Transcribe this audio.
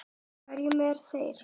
Hverjar eru þær?